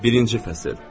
Birinci fəsil.